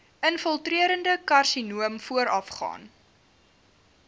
infiltrerende karsinoom voorafgaan